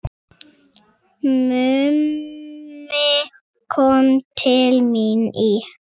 Mummi kom til mín í